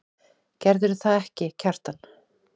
Gerðirðu það ekki, Kjartan?